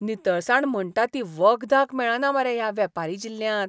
नितळसाण म्हणटा ती वखदाक मेळना मरे ह्या वेपारी जिल्ल्यांत!